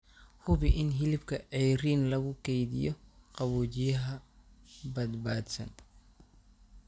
Hubi in hilibka ceeriin lagu keydiyo qaboojiyaha badbaadsan.